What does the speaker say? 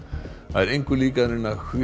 það er engu líkara en að